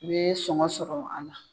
I ye sɔngɔ sɔrɔ ala.